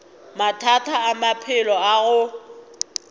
mathata a maphelo a go